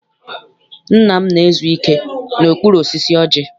Nna m na-ezu ike n'okpuru osisi ọjị.